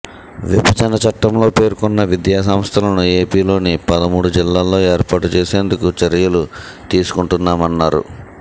విభజన చట్టంలో పేర్కొన్న విధ్యాసంస్థలను ఏపీలోని పదమూడు జిల్లాల్లో ఏర్పాటు చేసేందుకు చర్యలు తీసుకుంటున్నామన్నారు